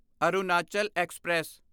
Arunachal express